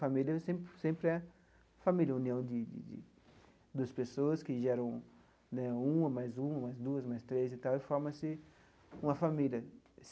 Família sem sempre é família, união de de duas pessoas que geram né uma mais uma, mais duas, mais três e tal, e forma-se uma família.